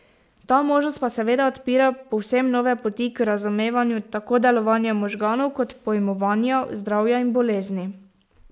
Ta možnost pa seveda odpira povsem nove poti k razumevanju tako delovanja možganov kot pojmovanja zdravja in bolezni.